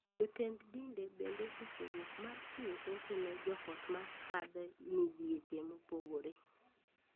Jotend dinde bende osewuok mar chiwo hocho ne joot ma kadhe midhieche mopogore.